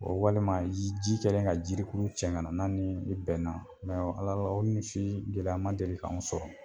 O walima ji kɛlen ka jirikurun cɛ ka na n'a ni min bɛnna Ala la o ni sin gɛlɛya ma deli k'anw sɔrɔ